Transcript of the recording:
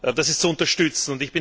Das ist zu unterstützen.